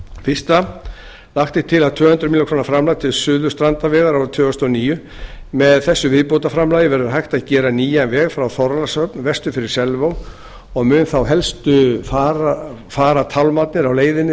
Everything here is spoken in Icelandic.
fyrstu lagt er til tvö hundruð milljóna króna framlag til suðurstrandarvegar árið tvö þúsund og níu með þessu viðbótarframlagi verður hægt að gera nýjan veg frá þorlákshöfn vestur fyrir selvog og munu þá helstu farartálmarnir á leiðinni